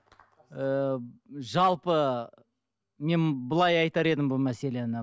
ыыы жалпы мен былай айтар едім бұл мәселені